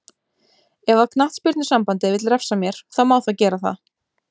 Ef að knattspyrnusambandið vill refsa mér, þá má það gera það.